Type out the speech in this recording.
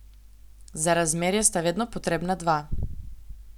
Za razmerje sta seveda potrebna dva.